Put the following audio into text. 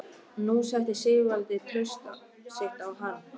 Nú setti Sigvaldi traust sitt á hann.